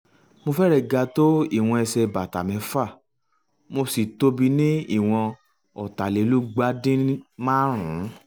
mo fẹ́rẹ̀ẹ́ ga tó ìwọ̀n ẹsẹ̀ bàtà mc´fà mo sì tóbi ní ìwọ̀n ọ̀tàlélúgba-díń-maárùn-ún